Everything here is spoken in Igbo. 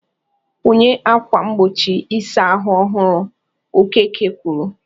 "Kwụnye ákwà mgbochi ịsa ahụ ọhụrụ" Okeke kwuru.